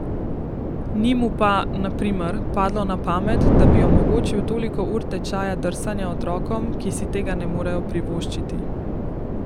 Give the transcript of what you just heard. Ni mu pa, na primer, padlo na pamet, da bi omogočil toliko ur tečaja drsanja otrokom, ki si tega ne morejo privoščiti.